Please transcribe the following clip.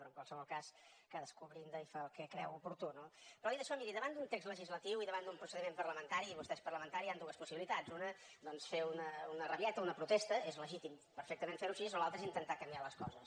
però en qualsevol cas cadascú brinda i fa el que creu oportú no però dit això miri davant d’un text legislatiu i davant d’un procediment parlamentari i vostè és parlamentari hi han dues possibilitats una doncs fer una rabieta una protesta és legítim perfectament fer ho així o l’altra és intentar canviar les coses